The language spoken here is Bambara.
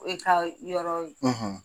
E ka yɔrɔ ye.